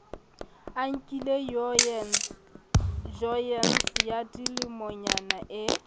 anke joyene ya dilemonyana e